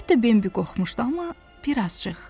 Əlbəttə Bimbi qorxmuşdu, amma birazcıq.